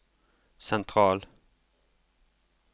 sentral